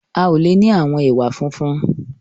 A o le ni àwọn ẹwà funfun.